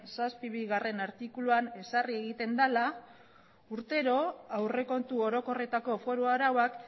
zazpibigarrena artikuluan ezarri egiten dela urtero aurrekontu orokorretako foru arauak